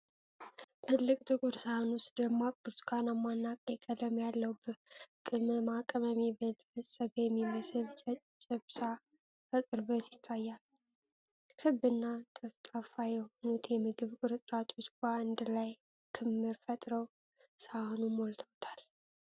ትልቅ ጥቁር ሳህን ውስጥ ደማቅ ብርቱካናማ እና ቀይ ቀለም ያለው፣ በቅመማ ቅመም የበለጸገ የሚመስል ጨጨብሳ ከቅርበት ይታያል። ክብ እና ጠፍጣፋ የሆኑት የምግብ ቁርጥራጮች በአንድ ላይ ክምር ፈጥረው ሳህኑን ሞልተውታል።